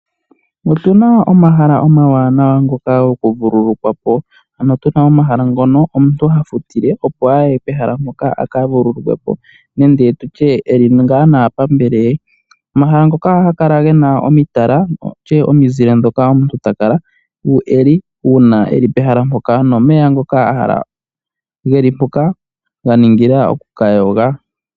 Otu na omahala omawanawa ngoka gokuvulukwa po. Ano tuna omahala ngono omuntu ha futile opo a ye pehala mpoka a ka vululukwe po, nenge tu tye eli ngaa naapambele ye. Omahala ngoka oha ga kala gena omitala, nenge tu tye omizile dhoka omuntu ta kala eli uuna ta kala pehala mpoka, nomeya ngoka a hala geli mpoka ga ningila oku ka yoga.